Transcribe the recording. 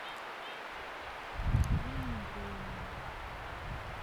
анна андреевна